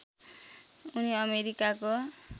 उनी अमेरिकाको